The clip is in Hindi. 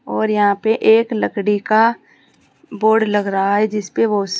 और यहां पे एक लकड़ी का बोर्ड लग रहा है जिसपे वो--